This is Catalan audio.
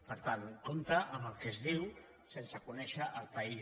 per tant compte amb el que es diu sense conèixer el país